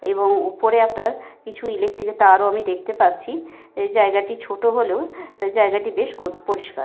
এবং ওপরে আপনার কিছু ইলেকট্রিক -এর তারও আমি দেখতে পাচ্ছি। এই জায়গাটি ছোট হলেও জায়গাটি বেশ গো পরিস্কার।